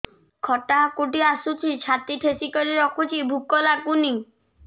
ଖଟା ହାକୁଟି ଆସୁଛି ଛାତି ଠେସିକରି ରଖୁଛି ଭୁକ ଲାଗୁନି